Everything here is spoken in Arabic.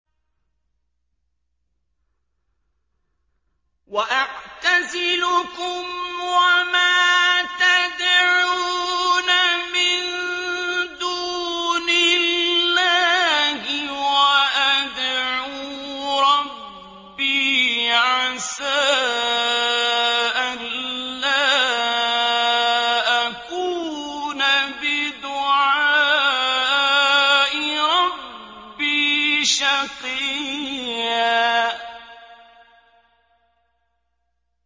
وَأَعْتَزِلُكُمْ وَمَا تَدْعُونَ مِن دُونِ اللَّهِ وَأَدْعُو رَبِّي عَسَىٰ أَلَّا أَكُونَ بِدُعَاءِ رَبِّي شَقِيًّا